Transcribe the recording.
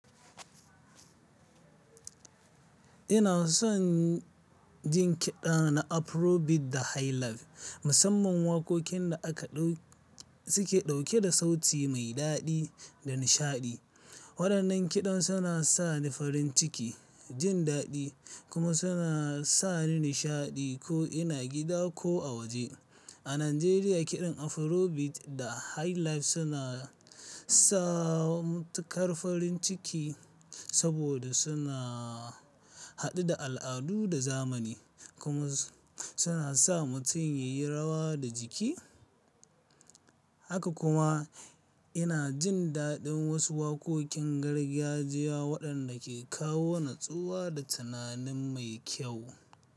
Ina son jin kiɗa na Afrobeat da Highlife, musamman waƙoƙin da aka ɗau-- suke ɗauke da sauti mai daɗi da nishaɗi. Waɗannan kiɗan suna sa ni farin ciki, jin daɗi kuma suna sa ni nishaɗi ko ina gida ko a waje. A Najeriya, kiɗan Afrobeat da Highlife suna sa mutum kar farin ciki saboda suna haɗe da al'adu da zamani kuma suna sa mutum yayi rawa da jiki. Haka kuma ina jin daɗin wasu waƙoƙin gargajiya waɗanda ke kawo natsuwa da tunanin mai kyau.